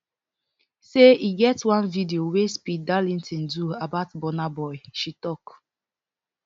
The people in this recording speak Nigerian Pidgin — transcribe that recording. say e get one video wey speed darlington do about burna boy she tok